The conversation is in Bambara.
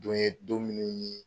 Don ye don minnu ye